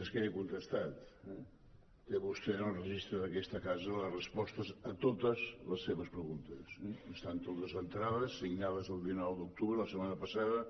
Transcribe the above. és que ja he contestat eh té vostè en el registre d’aquesta casa les respostes a totes les seves preguntes estan totes entrades signades el dinou d’octubre la setmana passada